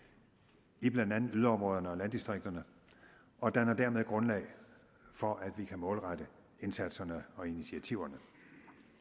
i blandt andet yderområderne og landdistrikterne og danner dermed grundlag for at vi kan målrette indsatserne og initiativerne